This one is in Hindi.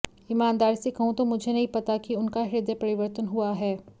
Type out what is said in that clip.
ईमानदारी से कहूं तो मुझे नहीं पता कि उनका हृदय परिवर्तन हुआ है